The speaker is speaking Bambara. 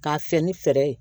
K'a fɛ ni fɛɛrɛ ye